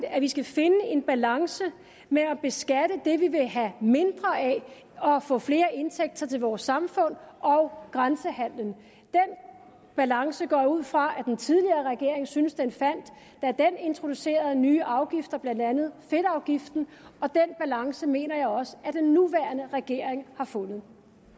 at vi skal finde en balance mellem at beskatte det vi vil have mindre af og få flere indtægter til vores samfund og grænsehandelen den balance går jeg ud fra at den tidligere regering syntes den fandt da den introducerede nye afgifter blandt andet fedtafgiften og den balance mener jeg også at den nuværende regering har fundet